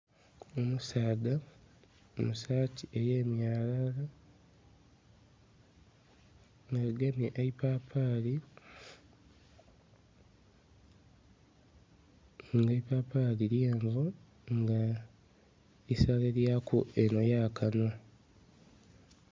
Omusaadha mu saati eye myalala nga agemye eipapaali nga eipapaali lyenvu nga isale lya ku enho ya kanhwa.